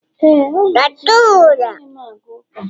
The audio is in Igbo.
Éè, ọ bụ eziokwu anaghị m aga ụka